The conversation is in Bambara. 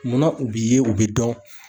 Munna u b'i ye u bɛ dɔn?